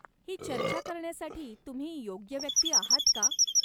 ही चर्चा करण्यासाठी तुम्ही योग्य व्यक्ती आहात का?